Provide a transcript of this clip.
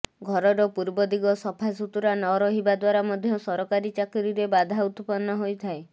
ଘରର ପୂର୍ବ ଦିଗ ସଫାସୁତୁରା ନ ରହିବା ଦ୍ବାରା ମଧ୍ୟ ସରକାରୀ ଚାକିରୀରେ ବାଧା ଉତ୍ପନ୍ନ ହୋଇଥାଏ